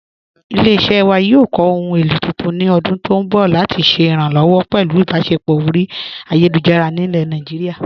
Ilẹ̀-iṣẹ́ wa yóò kọ́ ohun èlo tuntun ni ọ̀dún tó nbọ̀ lati ṣẹ̀ iránlọ́wọ̀ pẹ̀lú ìbáṣẹpọ̀ ọ̀ri ayélujára ni Naijíríà.